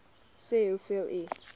sê hoeveel u